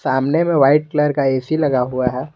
सामने में white colour का ए_सी लगा हुआ है।